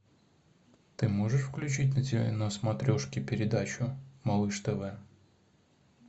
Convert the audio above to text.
ты можешь включить на смотрешке передачу малыш тв